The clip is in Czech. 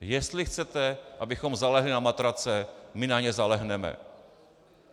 Jestli chcete, abychom zalehli na matrace, my na ně zalehneme.